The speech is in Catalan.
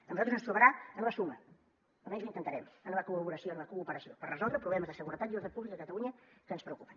a nosaltres ens trobarà en la suma o almenys ho intentarem en la col·laboració en la cooperació per resoldre problemes de seguretat i ordre públic a catalunya que ens preocupen